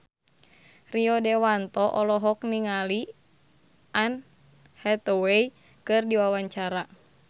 Rio Dewanto olohok ningali Anne Hathaway keur diwawancara